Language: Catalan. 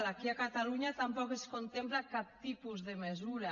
aquí a catalunya tampoc es contempla cap tipus de mesura